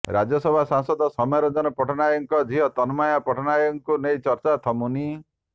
ରାଜ୍ୟସଭା ସାଂସଦ ସୌମ୍ୟରଞ୍ଜନ ପଟ୍ଟନାୟକଙ୍କ ଝିଅ ତନୟା ପଟ୍ଟନାୟକଙ୍କୁ ନେଇ ଚର୍ଚ୍ଚା ଥମୁନି